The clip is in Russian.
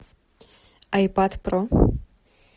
айпад про